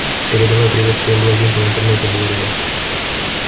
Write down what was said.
передавай привет своим блондинкам в интернете говорю я